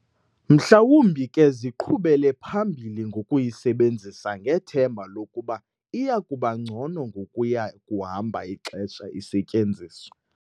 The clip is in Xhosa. Mhlawumbi ke ziqhubele phambili ngokuyisebenzisa ngethemba lokuba iyakuba ngcono ngokuya kuhamba ixesha isetyenziswa.